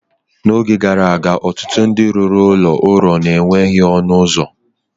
N’oge gara aga, ọtụtụ ndị rụrụ ụlọ ụrọ na-enweghị ọnụ ụzọ.